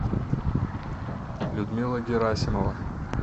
людмила герасимова